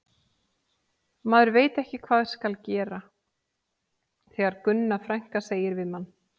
Maður veit ekki hvað skal gera þegar Gunna frænka segir við mann